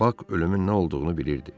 Bak ölümün nə olduğunu bilirdi.